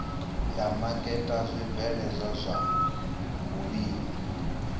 ya maketa zwibveledzwa zwa vhulimi